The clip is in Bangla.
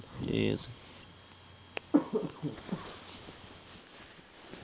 ঠিকাছে।